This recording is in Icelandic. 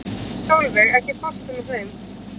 Solveig, ekki fórstu með þeim?